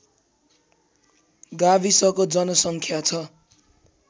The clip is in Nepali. गाविसको जनसङ्ख्या छ